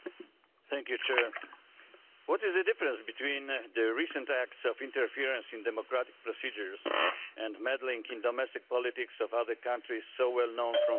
Mr President, what is the difference between the recent acts of interference in democratic procedures and meddling in domestic politics of other countries so well known from history?